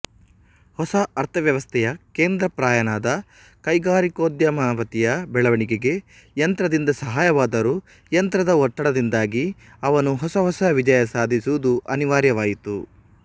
ಹೊಸ ಅರ್ಥವ್ಯವಸ್ಥೆಯ ಕೇಂದ್ರಪ್ರಾಯನಾದ ಕೈಗಾರಿಕೋದ್ಯಮಪತಿಯ ಬೆಳೆವಣಿಗೆಗೆ ಯಂತ್ರದಿಂದ ಸಹಾಯವಾದರೂ ಯಂತ್ರದ ಒತ್ತಡದಿಂದಾಗಿ ಅವನು ಹೊಸಹೊಸ ವಿಜಯ ಸಾಧಿಸುವುದು ಅನಿವಾರ್ಯವಾಯಿತು